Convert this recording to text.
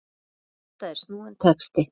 Þetta er snúinn texti.